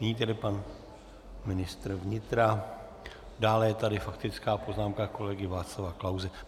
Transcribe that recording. Nyní tedy pan ministr vnitra, dále je tady faktická poznámka kolegy Václava Klause.